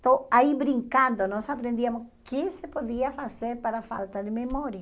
Então, aí brincando, nós aprendíamos o que se podia fazer para a falta de memória.